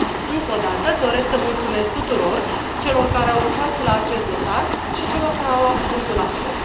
Încă o dată, doresc să le mulțumesc tuturor celor care au lucrat la acest dosar și celor care au luat cuvântul astăzi.